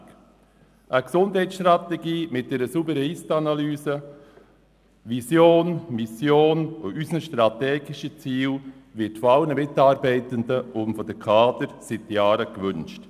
Eine Gesundheitsstrategie mit einer sauberen Ist-Analyse, mit Vision, Mission und strategischen Zielen wird von allen Mitarbeitenden und von den Kadern seit Jahren gewünscht.